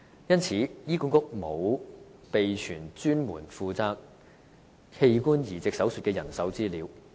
因此，醫管局沒有備存有關專門負責器官移植手術的人手資料。